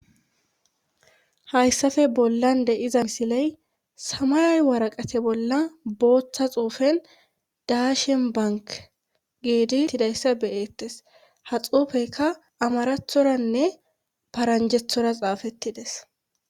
hayssafe bollan de'iza misiley samay waraqate bolla booththa xuufen daashenbank geedi tidayssa beyeettes ha xuufeyka amarathoranne paranjethora xaafettides